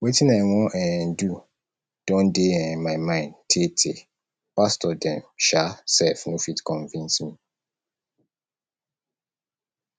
wetin i wan um do don dey um my mind tee tee pastor dem um sef no fit convince me